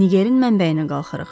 Ngerin mənbəyinə qalxırıq.